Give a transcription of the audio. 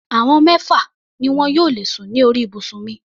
Àwọn mẹ́fà ni wọn yóò lè sùn ní orí ibùsùn mi.